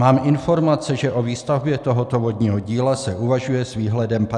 Mám informace, že o výstavbě tohoto vodního díla se uvažuje s výhledem 50 let.